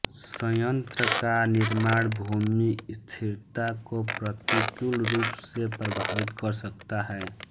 संयंत्र का निर्माण भूमि स्थिरता को प्रतिकूल रूप से प्रभावित कर सकता है